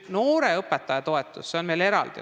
Noore õpetaja toetus on veel eraldi.